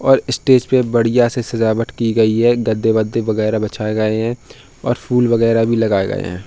और स्टेज पे बढ़िया से सजावट की गयी है। गद्दे वद्दे बगैरह बिछाये गए है और फूल वगैरह भी लगाए गए हैं।